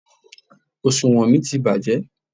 Òsùwọ́n mi ti bàjẹ́.